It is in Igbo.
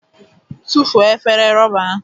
tufuo efere rọba ahụ!